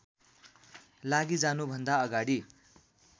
लागि जानुभन्दा अगाडि